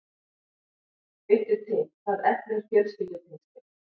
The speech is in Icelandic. Vittu til, það eflir fjölskyldutengslin.